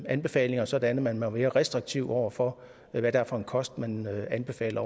anbefalinger sådan at man er mere restriktiv over for hvad det er for en kost man anbefaler